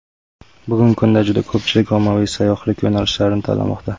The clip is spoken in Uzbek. Bugungi kunda juda ko‘pchilik ommaviy sayyohlik yo‘nalishlarini tanlamoqda.